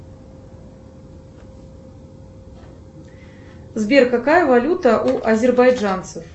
сбер какая валюта у азербайджанцев